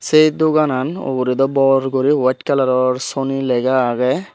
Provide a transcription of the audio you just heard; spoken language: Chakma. se doganan ugure daw bor guri wet kalaror soni lega agey.